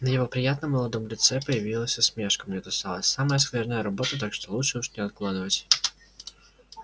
на его приятном молодом лице появилась усмешка мне досталась самая скверная работа так что лучше уж не откладывать